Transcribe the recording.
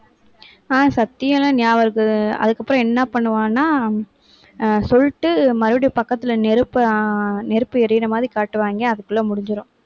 ஆஹ் சக்தி எல்லாம், ஞாபகம் இருக்குது. அதுக்கப்புறம் என்ன பண்ணுவான்னா சொல்லிட்டு மறுபடியும் பக்கத்துல நெருப்பு அஹ் நெருப்பு எரியுற மாதிரி காட்டுவாங்க அதுக்குள்ள முடிஞ்சிரும்.